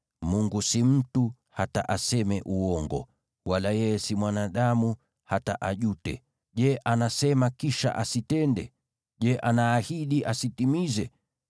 Mungu si mtu, hata aseme uongo, wala yeye si mwanadamu, hata ajute. Je, anasema, kisha asitende? Je, anaahidi, asitimize?